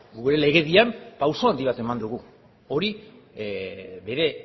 gure legedian pauso handi bat eman dugu hori bere